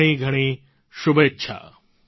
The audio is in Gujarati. ઘણીઘણી શુભેચ્છા